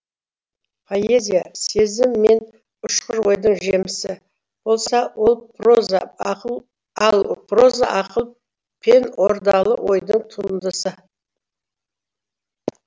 поэзия сезім мен ұшқыр ойдың жемісі болса ал проза ақыл пен ордалы ойдың туындысы